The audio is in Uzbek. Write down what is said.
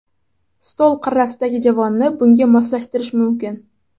Stol qirrasidagi javonni bunga moslashtirish mumkin.